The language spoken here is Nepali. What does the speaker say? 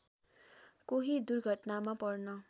कोही दुर्घटनामा पर्न